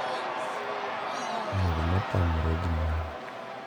Miel ma tamre ginono,